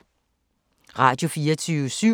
Radio24syv